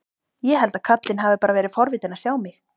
Ég held að karlinn hafi bara verið forvitinn að sjá mig.